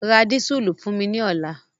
Ra dísùlù fún mi ní ọ̀la!